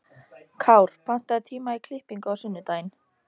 Kár, pantaðu tíma í klippingu á sunnudaginn.